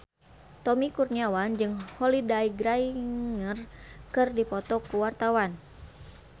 Tommy Kurniawan jeung Holliday Grainger keur dipoto ku wartawan